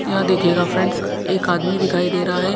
यहाँ देखिएगा फ्रेंड्स एक आदमी दिखाई दे रहा है।